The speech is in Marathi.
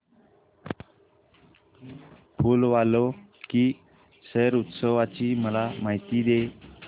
फूल वालों की सैर उत्सवाची मला माहिती दे